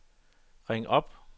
ring op